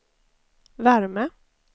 värme